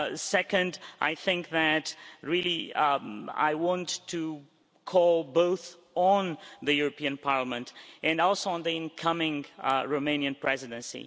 Second, I think that really, I want to call both on the European Parliament and also on the incoming Romanian Presidency.